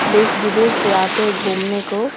देश-विदेश से आते हैं घूमने को --